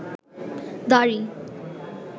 দাড়ি